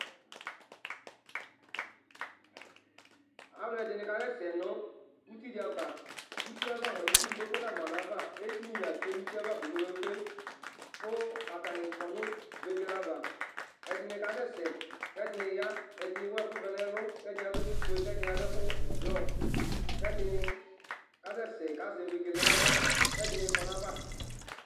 Alʋɛdìní kasɛsɛ nʋ ʋti di ava Ʋti ava mʋa itsu di kpekpe nama nʋ ava Eti ni la tsʋe nʋ ʋti ye ava kpe kpe kpe kʋ atani kɔ nʋ vegele ava Ɛdiní kasɛsɛ kʋ ɛdiní ya Ɛdiní ewu ɛku vɛ nu ɛlu kʋ ɛdiní adu ɛku fʋe kʋ ɛdiní adu blɔ Kʋ ɛdiní kasɛsɛ kʋ azɛ vegele nʋ aɣla kʋ ɛdiní kɔ nʋ ayʋ ava